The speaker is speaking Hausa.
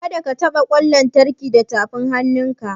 Kada ka taɓa ƙwan lantarki da tafin hannunka!